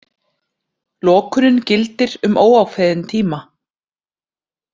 Lokunin gildir um óákveðinn tíma